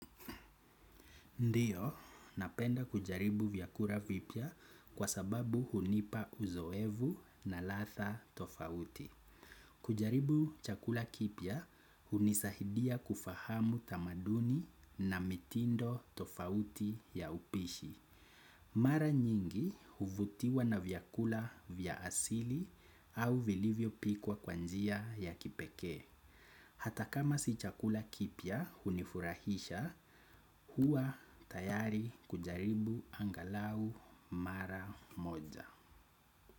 Ndiyo, napenda kujaribu vyakula vipya kwa sababu hunipa uzoefu na latha tofauti. Kujaribu chakula kipya, hunisaidia kufahamu tamaduni na mitindo tofauti ya upishi. Mara nyingi huvutiwa na vyakula vya asili au vilivyo pikwa kwa njia ya kipekee. Hata kama si chakula kipya hunifurahisha, huwa tayari kujaribu anghalau mara moja.